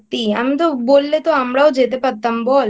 বললে তো আমরাও যেতে পারতাম বল।